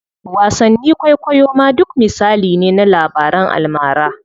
Wasanni kwaikwayo ma duk misali ne na labaran almara.